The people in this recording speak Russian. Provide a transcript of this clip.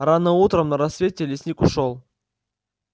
рано утром на рассвете лесник ушёл